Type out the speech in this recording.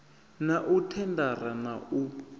na u thendara na u